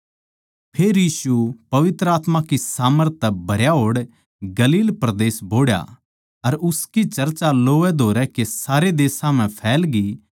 फेर यीशु पवित्र आत्मा की सामर्थ तै भरया होड़ गलील परदेस बोहड़या अर उसकी चर्चा लोवैधोवै के सारे देशां म्ह फैलगी